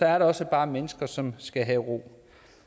er der også bare mennesker som skal have ro